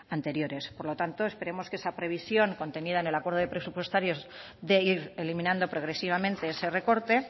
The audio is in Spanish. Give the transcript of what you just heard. anteriores por lo tanto esperemos que esa previsión contenida en el acuerdo presupuestarios de ir eliminando progresivamente ese recorte